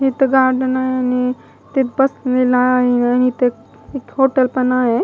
इथं गार्डन आहे आणि तिथं बसलेला आहे आणि इथं एक पण आहे.